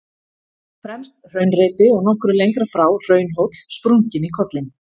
Fremst hraunreipi og nokkru lengra frá hraunhóll, sprunginn í kollinn.